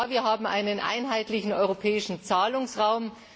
Ja, wir haben einen einheitlichen europäischen Zahlungsraum.